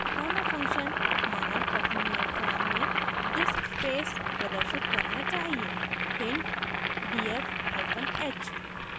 पहला function मानव पठनीय form में diskspace प्रदर्शित करना चाहिए hint: df hyphen h